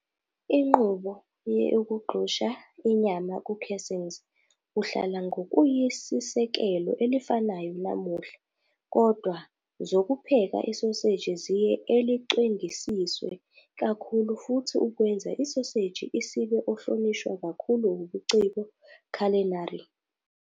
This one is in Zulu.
Inqubo ye ukugxusha inyama ku casings uhlala ngokuyisisekelo elifanayo namuhla, kodwa zokupheka isoseji ziye elicwengisiswe kakhulu futhi ukwenza isoseji isibe ohlonishwa kakhulu ubuciko Culinary.